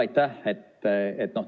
Aitäh!